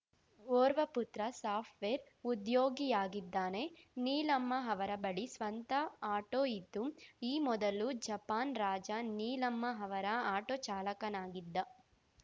ಓರ್ವ ಪುತ್ರ ಸಾಫ್ಟ್‌ವೇರ್‌ ಉದ್ಯೋಗಿಯಾಗಿದ್ದಾನೆ ನೀಲಮ್ಮ ಅವರ ಬಳಿ ಸ್ವಂತ ಆಟೋ ಇದ್ದು ಈ ಮೊದಲು ಜಪಾನ್‌ ರಾಜ ನೀಲಮ್ಮ ಅವರ ಆಟೋ ಚಾಲಕನಾಗಿದ್ದ